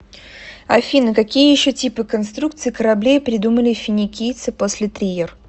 афина какие еще типы конструкций кораблей придумали финикийцы после триер